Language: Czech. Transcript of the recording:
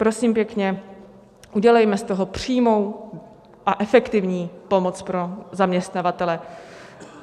Prosím pěkně, udělejme z toho přímou a efektivní pomoc pro zaměstnavatele.